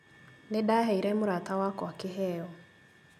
Nĩndaheire mũrata wakwa kĩheo